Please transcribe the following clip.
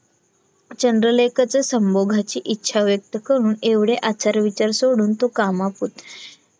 चंद्रलेखाचा संभोगाची इच्छा व्यक्त करून एवढे आचार विचार सोडून तो कामापुरता